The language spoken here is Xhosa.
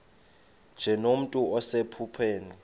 nje nomntu osephupheni